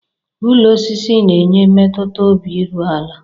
Ụlọ osisi n'enye mmetuta obi iru ala.